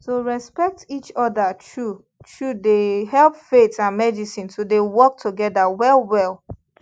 to respect each other true truedey help faith and medicine to dey work together well well